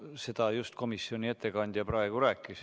Seda just komisjoni ettekandja praegu rääkis.